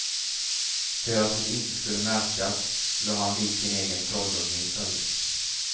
För att det inte skulle märkas la han dit sin egen trollunge i stället.